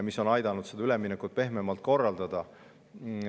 See on aidanud seda üleminekut pehmemalt korraldada.